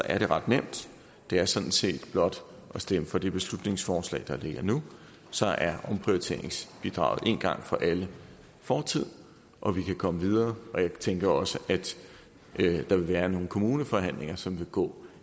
er det ret nemt det er sådan set blot at stemme for det beslutningsforslag der ligger nu så er omprioriteringsbidraget en gang for alle fortid og vi kan komme videre og jeg tænker også at der vil være nogle kommuneforhandlinger som vil gå